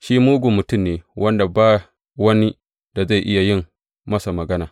Shi mugun mutum ne wanda ba wani da zai iya yin masa magana.